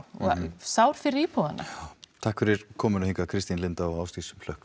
og sár fyrir íbúana já takk fyrir komuna hingað Kristín Linda og Ásdís hlökk